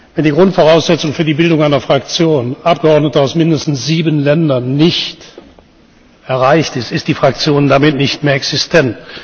Wenn die Grundvoraussetzung für die Bildung einer Fraktion Abgeordnete aus mindestens sieben Ländern nicht erreicht ist, ist die Fraktion damit nicht mehr existent.